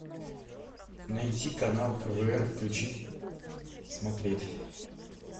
найти канал квн включить смотреть